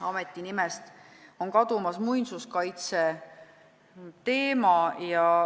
Ameti nimest on kadumas muinsuskaitseteema.